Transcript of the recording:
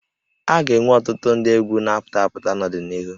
A ga-enwe ọtụtụ ndị egwú na-apụta apụta n'ọdịnihu